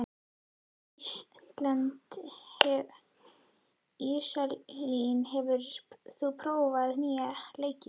Íselín, hefur þú prófað nýja leikinn?